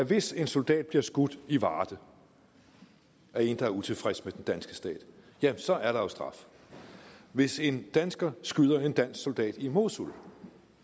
hvis en soldat bliver skudt i varde af en der er utilfreds med den danske stat så er der jo straf og hvis en dansker skyder en dansk soldat i mosul